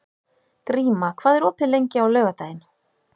Gríma, hvað er opið lengi á laugardaginn?